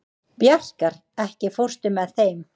Bjarkar, ekki fórstu með þeim?